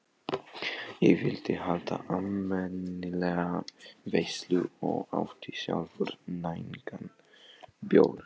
Ég vildi halda almennilega veislu og átti sjálfur nægan bjór.